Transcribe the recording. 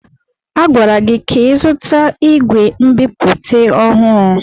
A gwara gị ka ịzụta ìgwè nbipute ọhụrụ!